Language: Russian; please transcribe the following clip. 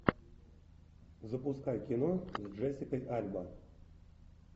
запускай кино с джессикой альба